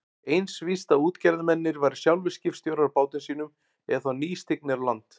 Eins víst að útgerðarmennirnir væru sjálfir skipstjórar á bátum sínum eða þá nýstignir á land.